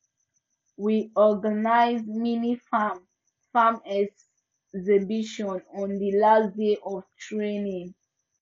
we organize mini farm farm exhibition on the last day of training